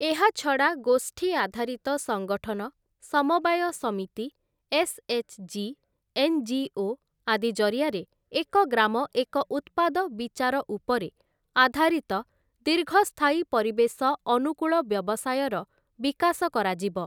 ଏହାଛଡ଼ା ଗୋଷ୍ଠୀ ଆଧାରିତ ସଙ୍ଗଠନ, ସମବାୟ ସମିତି, ଏସ୍‌.ଏଚ୍‌.ଜି., ଏନ୍‌.ଜି.ଓ. ଆଦି ଜରିଆରେ ଏକ ଗ୍ରାମ ଏକ ଉତ୍ପାଦ ବିଚାର ଉପରେ ଆଧାରିତ ଦୀର୍ଘସ୍ଥାୟୀ ପରିବେଶ ଅନୁକୂଳ ବ୍ୟବସାୟର ବିକାଶ କରାଯିବ ।